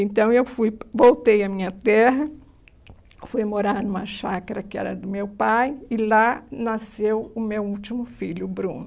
Então eu fui, voltei à minha terra, fui morar numa chácara que era do meu pai, e lá nasceu o meu último filho, o Bruno.